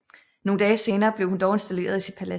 Nogle dage senere blev hun dog installeret i sit palads